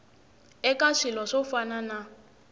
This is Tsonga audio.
eka swilo swo fana na